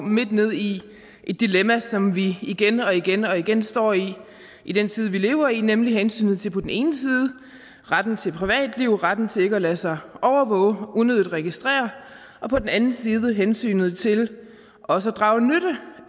midt ned i et dilemma som vi igen og igen og igen står i i den tid vi lever i nemlig hensynet til på den ene side retten til privatliv retten til ikke at lade sig overvåge eller unødigt registrere og på den anden side hensynet til også at drage nytte